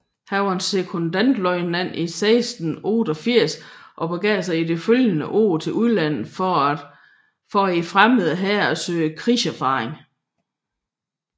Han blev sekondløjtnant 1689 og begav sig i det følgende år til udlandet for i fremmede hære at søge krigserfaring